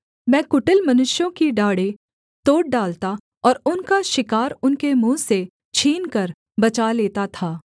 मैं कुटिल मनुष्यों की डाढ़ें तोड़ डालता और उनका शिकार उनके मुँह से छीनकर बचा लेता था